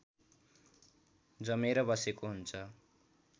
जमेर बसेको हुन्छ